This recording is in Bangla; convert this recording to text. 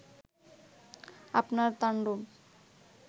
আপনার তান্ডব